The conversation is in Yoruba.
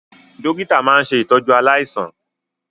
Dọ́kítà máa ń ṣe ìtọ́jú aláìsàn.